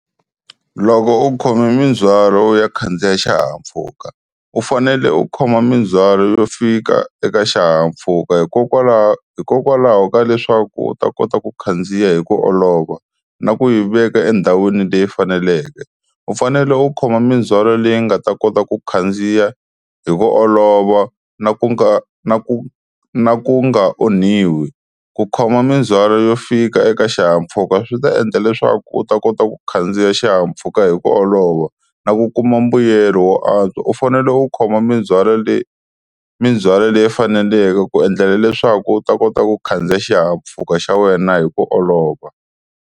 Loko u khome mindzwalo u ya khandziya xihahampfhuka u fanele u khoma mindzhwalo yo fika eka xihahampfhuka hikokwalaho hikokwalaho ka leswaku u ta kota ku khandziya hi ku olova na ku yi veka endhawini leyi faneleke, u fanele u khoma mindzwalo leyi nga ta kota ku khandziya hi ku olova na ku nga na ku na ku nga onhiwi, ku khoma mindzhwalo yo fika eka xihahampfhuka swi ta endla leswaku u ta kota ku khandziya xihahampfhuka hi ku olova na ku kuma mbuyelo wo antswa, u fanele u khoma mindzwalo leyi mindzwalo leyi faneleke ku endlela leswaku u ta kota ku khandziya xihahampfhuka xa wena hi ku olova.